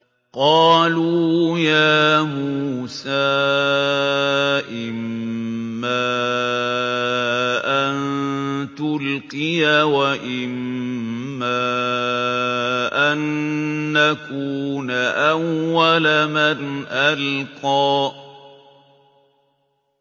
قَالُوا يَا مُوسَىٰ إِمَّا أَن تُلْقِيَ وَإِمَّا أَن نَّكُونَ أَوَّلَ مَنْ أَلْقَىٰ